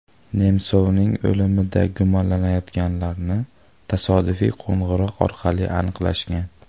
Nemsovning o‘limida gumonlanayotganlarni tasodifiy qo‘ng‘iroq orqali aniqlashgan.